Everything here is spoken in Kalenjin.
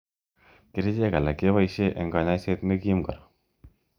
Kerichek alak keboishe eng kanyoiset nekim kora.